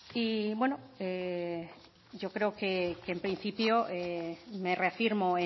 y bueno yo creo que en principio me reafirmo